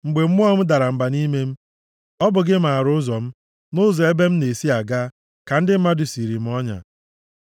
Mgbe mmụọ m dara mba nʼime m, ọ bụ gị maara ụzọ m. Nʼụzọ ebe m na-esi aga ka ndị mmadụ siiri m ọnya.